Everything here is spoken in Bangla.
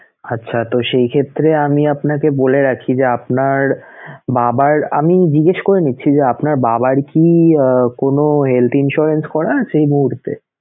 আচ্ছা, তো সেই ক্ষেত্রে আমি আপনাকে বলে রাখি যে আপনার বাবার আমি জিজ্ঞেস করে নিচ্ছি যে আপনার বাবার কি কোন health insurance করা আছে এই মুহূর্তে?